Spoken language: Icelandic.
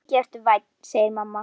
Mikið ertu vænn, segir mamma.